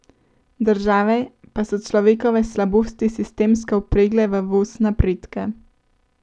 Države pa so človekove slabosti sistemsko vpregle v voz napredka.